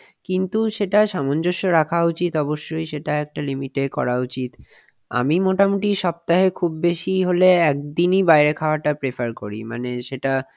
কিন্তু সেটা সামঞ্জস্য রাখা উচিত অবশ্যই সেটা একটা limit এ করা উচিত আমি মোটামুটি সপ্তাহে খুব বেশি হলে একদিনই বাইরে খাওয়াটা prefer করি মানে সেটা